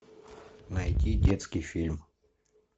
найти детский фильм